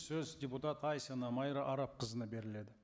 сөз депутат айсина майра арапқызына беріледі